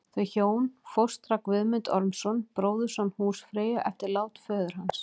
Þau hjón fóstra Guðmund Ormsson, bróðurson húsfreyju, eftir lát föður hans.